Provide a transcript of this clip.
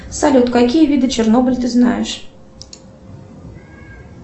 салют какие виды чернобыль ты знаешь